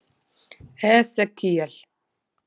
Esekíel